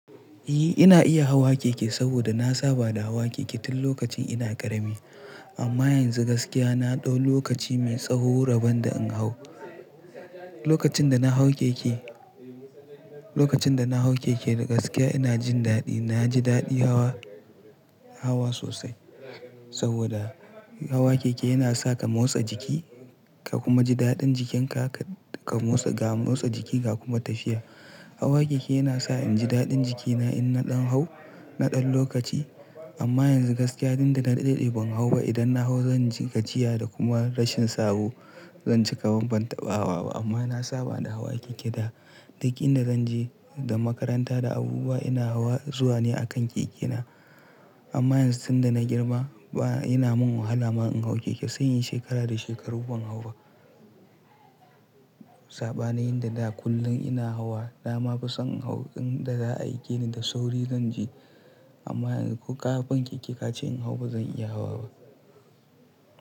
Eh! Ina iya hawa keke saboda na saba da hawa keke tun lokacin ina ƙarami. Amma yanzu gaskiya na ɗau lokaci mai tsaho raban da in hau. Lokacin da na hau keke, lokacin da na hau keke da gaskiya ina jin daɗi. Na ji daɗi hawa, hawa sosai saboda hawa keke yana sa ka motsa jiki ka kuma ji daɗin jikinka ka, ka motsa, ka motsa jikinka kuma tafiya. Hawa keke yana sa in ji daɗin jikina in na ɗan hau, na ɗan lokaci. Amma yanzu gaskiya tunda na daɗe bai hau ba idan na hau zan ji kaciya da kuma rashin sauro. Zan cika ban bantaba wa ba amma na saba da hawa keke da. Duk inda zan je da makaranta da abubuwa ina hawa zuwa ne a kan keke na. Amma yanzu tunda na girma ba, yana min wahala ma in hau keke sai yin shekara da shekaru ban hau ba. Sabanin yan da da kullum ina hawa, na ma fi son in hau inda za'a aike ni da sauri zan je. Amma yanzu ƙaraben keke ka ce in hau ba zan iya hawa ba.